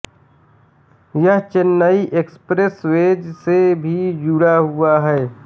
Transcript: यह चेन्नई एक्सप्रेसवेज़ से भी जुड़ा हुआ है